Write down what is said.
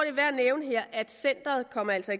er værd at nævne her at centeret altså